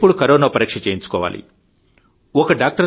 ఎప్పుడు కరోనా పరీక్ష చేయించుకోవాలి ఒక డాక్టరుగా